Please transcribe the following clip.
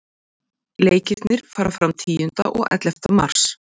Leikirnir fara fram tíunda og ellefta mars.